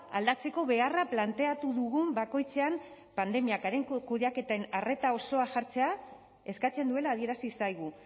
aldatzeko beharra planteatu dugun bakoitzean pandemiak kudeaketen arreta osoa jartzea eskatzen duela adierazi zaigu